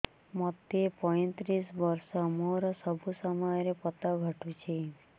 ମୋତେ ପଇଂତିରିଶ ବର୍ଷ ମୋର ସବୁ ସମୟରେ ପତ ଘଟୁଛି